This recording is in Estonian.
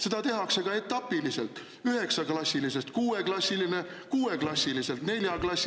Seda tehakse ka etapiliselt: üheksaklassilisest kuueklassiline, kuueklassilisest neljaklassiline …